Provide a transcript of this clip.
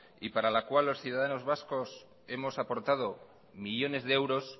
y para la cual los ciudadanos vascos hemos aportado millónes de euros